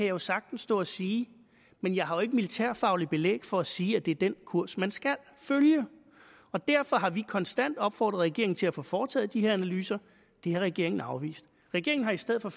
jo sagtens stå og sige men jeg har ikke militærfagligt belæg for at sige at det er den kurs man skal følge og derfor har vi konstant opfordret regeringen til at få foretaget de her analyser det har regeringen afvist regeringen har i stedet for